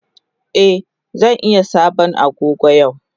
Eh zan iya sabon Agogo yau.